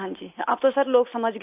اب تو لوگ سمجھ گئے ہیں